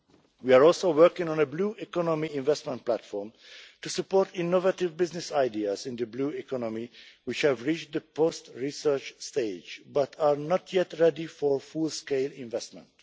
We are also working on a Blue Economy Investment Platform to support innovative business ideas in the blue economy that have reached the post research stage, but are not yet ready for full scale investment.